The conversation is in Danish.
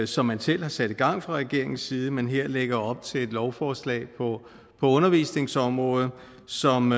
som man selv har sat i gang fra regeringens side men her lægger op til et lovforslag på undervisningsområdet som